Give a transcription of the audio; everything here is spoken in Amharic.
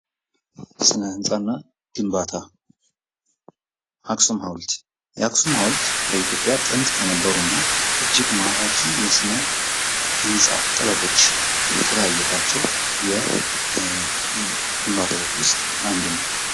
ስነ ህንጻና ግንባታ፦ የአክሱም ሃዉልት የአክሱም ሀውልት በኢትዮጵያ ጥንት ከነበሩ እና እጅግ ማራኪ የስነህንፃ ጥበቦች ከታዩባቸው ግንባታዎች ውስጥ አንዱ ነው።